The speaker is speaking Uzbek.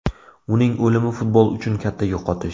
Uning o‘limi futbol uchun katta yo‘qotish.